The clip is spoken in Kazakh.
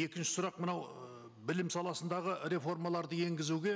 екінші сұрақ мынау ыыы білім саласындағы реформаларды енгізуге